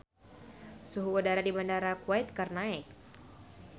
Suhu udara di Bandara Kuwait keur naek